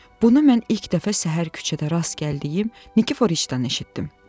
Bunu mən ilk dəfə səhər küçədə rast gəldiyim Nikiforidən eşitdim.